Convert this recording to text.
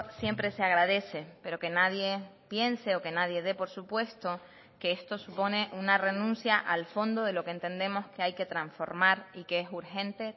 siempre se agradece pero que nadie piense o que nadie de por supuesto que esto supone una renuncia al fondo de lo que entendemos que hay que transformar y que es urgente